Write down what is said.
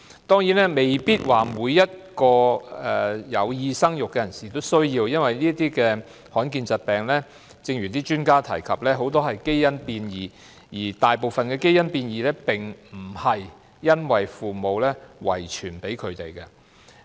當然不是說每個有意生育的人士也需要檢測，因為正如很多專家指出，這些罕見疾病的成因很多是因為基因變異，而大部分的基因變異並非由父母遺傳胎兒。